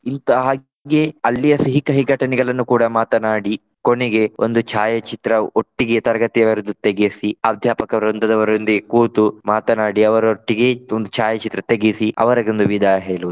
ಇಂತಹ ಅಲ್ಲಿಯ ಸಿಹಿ-ಕಹಿ ಘಟನೆಗಳನ್ನು ಕೂಡ ಮಾತನಾಡಿ ಕೊನೆಗೆ ಒಂದು ಛಾಯಾಚಿತ್ರ ಒಟ್ಟಿಗೆ ತರಗತಿಯವರದ್ದು ತೆಗೆಸಿ ಅಧ್ಯಾಪಕ ವೃಂದದವರೊಂದಿಗೆ ಕೂತು ಮಾತನಾಡಿ ಅವರೊಟ್ಟಿಗೆ ಒಂದ್ ಛಾಯಾಚಿತ್ರ ತೆಗೆಸಿ ಅವರಿಗೊಂದು ವಿದಾಯ ಹೇಳುವುದು.